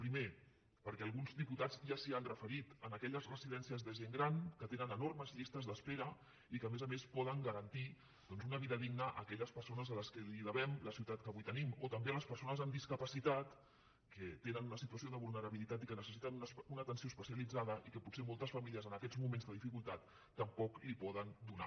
primer perquè alguns diputats ja s’hi han referit en aquelles residències de gent gran que tenen enormes llistes d’espera i que a més a més poden garantir doncs una vida digna a aquelles persones a què devem la ciutat que avui te·nim o també a les persones amb discapacitat que te·nen una situació de vulnerabilitat i que necessiten una atenció especialitzada i que potser moltes famílies en aquests moments de dificultat tampoc els poden do·nar